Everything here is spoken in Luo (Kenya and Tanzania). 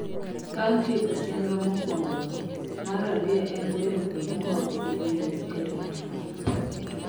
Bang' tieko chenro mokwongo no, mar ariyo en bero kuonde moko gi medo gik arita